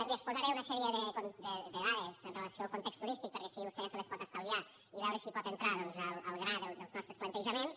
li exposaré una sèrie de dades amb relació al context turístic perquè així vostè se les pot estalviar i veure si pot entrar doncs al gra dels nostres plantejaments